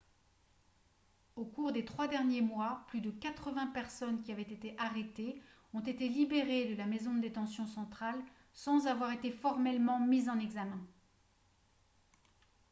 au cours des trois derniers mois plus de 80 personnes qui avaient été arrêtées ont été libérées de la maison de détention centrale sans avoir été formellement mises en examen